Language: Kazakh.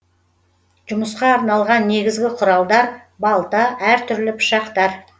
жұмысқа арналған негізгі құралдар балта әр түрлі пышақтар